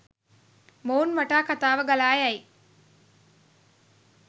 මොවුන් වටා කතාව ගලායයි